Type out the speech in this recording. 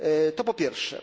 To po pierwsze.